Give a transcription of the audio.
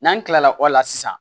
N'an kilala o la sisan